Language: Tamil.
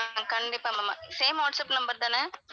ஆஹ் கண்டிப்பா ma'am same வாட்ஸ்ஆப் number தான?